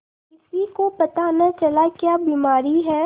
किसी को पता न चला क्या बीमारी है